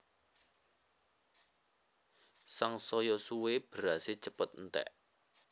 Sangsaya suwé berasé cepet enték